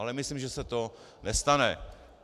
Ale myslím, že se to nestane.